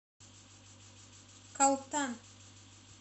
калтан